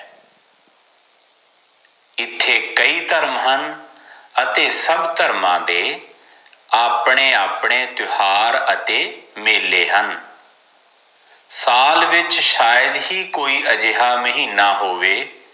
ਇਥੇ ਕਈ ਧਰਮ ਹਨ ਅਤੇ ਸਬ ਧਰਮਾਂ ਦੇ ਆਪਣੇ ਆਪਣੇ ਤਿਉਹਾਰ ਅਤੇ ਮੇਲੇ ਹਨ ਸਾਲ ਵਿਚ ਸ਼ਾਇਦ ਹੀ ਕੋਈ ਅਜਿਹਾ ਮਹੀਨਾ ਹੋਵੇ